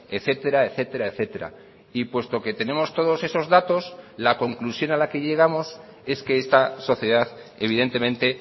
etcétera etcétera etcétera y puesto que tenemos todos esos datos la conclusión a la que llegamos es que esta sociedad evidentemente